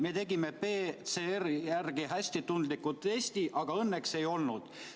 Me tegime PCR järgi hästi tundliku testi, aga õnneks ei olnud.